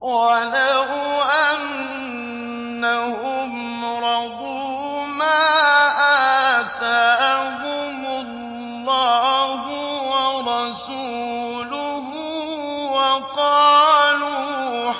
وَلَوْ أَنَّهُمْ رَضُوا مَا آتَاهُمُ اللَّهُ وَرَسُولُهُ وَقَالُوا